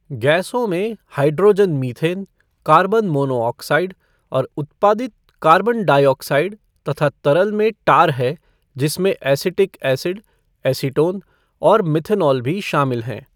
गैसों में hydrogen methane, carbon monoxide और उत्पादित कार्बन डाइऑक्साइड तथा तरल में टार है जिसमें एसिटिक एसिड, एसीटोन और मेथनॉल भी शामिल हैं।